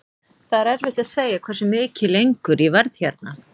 Það er erfitt að segja hversu mikið lengur ég verð hérna.